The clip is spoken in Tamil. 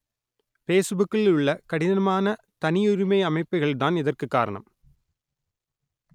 பேசுபுக்கில் உள்ள கடினமான தனியுரிமை அமைப்புகள் தான் இதற்கு காரணம்